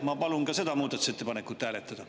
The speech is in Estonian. Ma palun ka seda muudatusettepanekut hääletada.